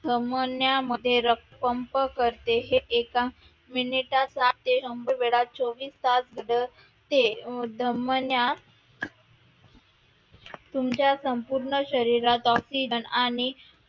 धमन्या मध्ये रक्त pump करते हे एका मिनिटात साठ ते शंभर वेळा चोवीस तास धडधडत असते. धमण्या तुमच्या संपूर्ण शरीरात oxygen आणि